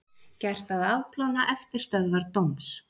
Gert að afplána eftirstöðvar dóms